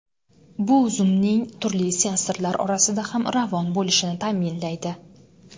Bu zumning turli sensorlar orasida ham ravon bo‘lishini ta’minlaydi.